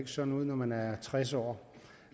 sådan ud når man er tres år